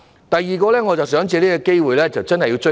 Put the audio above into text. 第二，我想藉這個機會向局長"追數"。